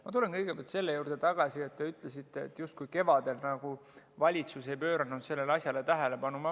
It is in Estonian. Ma tulen kõigepealt selle juurde tagasi, et te ütlesite, et kevadel valitsus justkui ei pööranud sellele asjale tähelepanu.